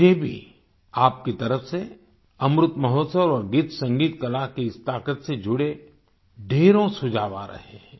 मुझे भी आपकी तरफ से अमृत महोत्सव और गीतसंगीतकला की इस ताकत से जुड़े ढ़ेरों सुझाव आ रहे हैं